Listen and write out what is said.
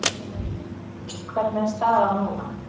Ágúst hvernig er staðan núna?